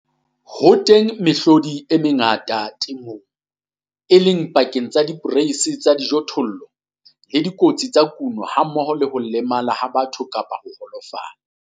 Ho teng mehlodi e mengata ya dikotsi temong, e leng e pakeng tsa diporeisi tsa dijothollo le dikotsi tsa kuno hammoho le ho lemala ha batho kapa ho holofala.